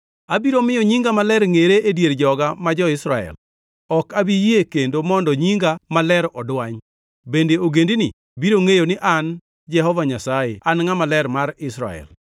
“ ‘Abiro miyo nyinga maler ngʼere e dier joga ma jo-Israel. Ok abi yie kendo mondo nyinga maler odwany, bende ogendini biro ngʼeyo ni an Jehova Nyasaye An Ngʼama Ler mar Israel.